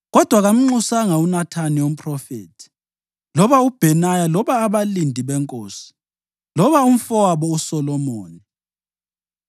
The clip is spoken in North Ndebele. kodwa kamnxusanga uNathani umphrofethi loba uBhenaya loba abalindi benkosi loba umfowabo uSolomoni.